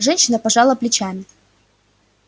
женщина пожала плечами